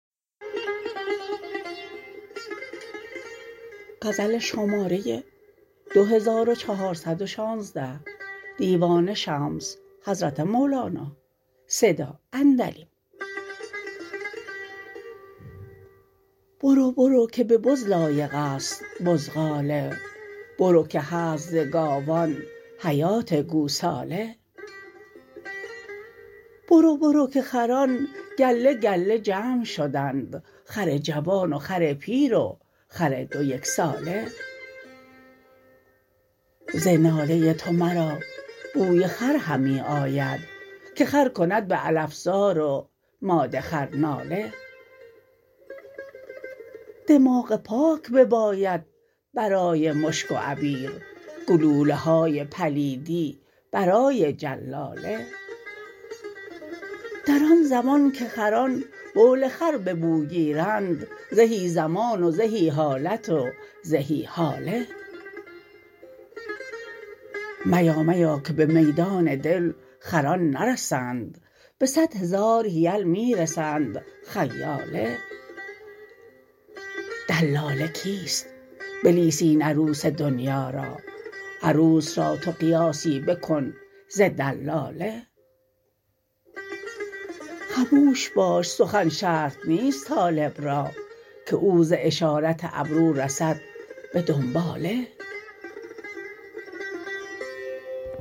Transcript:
برو برو که به بز لایق است بزغاله برو که هست ز گاوان حیات گوساله برو برو که خران گله گله جمع شدند خر جوان و خر پیر و خر دو یک ساله ز ناله تو مرا بوی خر همی آید که خر کند به علف زار و ماده خر ناله دماغ پاک بباید برای مشک و عبیر گلوله های پلیدی برای جلاله در آن زمان که خران بول خر به بو گیرند زهی زمان و زهی حالت و زهی حاله میا میا که به میدان دل خران نرسند به صد هزار حیل می رسند خیاله دلاله کیست بلیس این عروس دنیا را عروس را تو قیاسی بکن ز دلاله خموش باش سخن شرط نیست طالب را که او ز اشارت ابرو رسد به دنباله